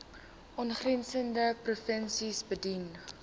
aangrensende provinsies bedien